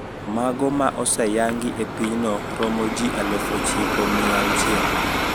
Mago ma oseyangi e pinyno romo ji aluf ochiko mia auchiel